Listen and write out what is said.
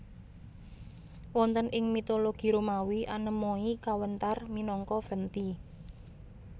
Wonten ing mitologi Romawi Anemoi kawéntar minangka Venti